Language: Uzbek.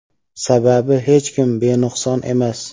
Sababi hech kim benuqson emas.